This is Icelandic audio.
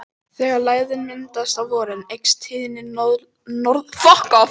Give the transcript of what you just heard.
Þegar lægðin myndast á vorin eykst tíðni norðlægra átta við ströndina.